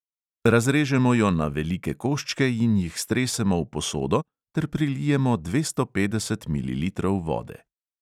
Razrežemo jo na velike koščke in jih stresemo v posodo ter prilijemo dvesto petdeset mililitrov vode.